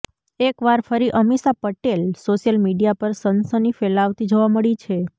એક વાર ફરી અમીષા પટેલ સોશિયલ મીડિયા પર સનસની ફેલાવતી જોવા મળી છે